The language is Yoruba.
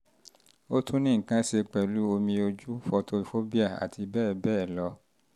ó tún ní nǹkan ṣe pẹ̀lú omi ojú photophobia àti bẹ́ẹ̀ bẹ́ẹ̀ lọ